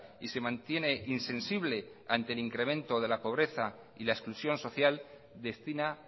y se mantiene insensible ante el incremento de la pobreza y la exclusión social destina